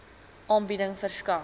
aanbieding verskaf